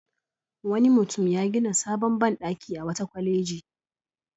Wani mutum ya gina sabon banɗaki a wata kwaleji.